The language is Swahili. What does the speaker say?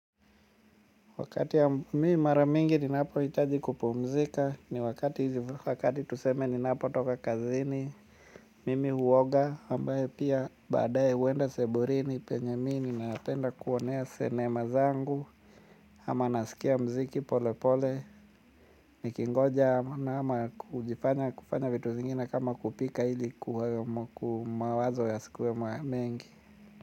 Wakati ya mi mara mingi ninapo hitaji kupumzika ni wakati hizi wakati tuseme ninapotoka kazini mimi huoga ambaye pia baadae huenda sebuleni penye mi ninapenda kuonea sinema zangu ama nasikia mziki pole pole nikingoja ama kufanya vitu zingine kama kupika ili mawazo yasikuwe mengi.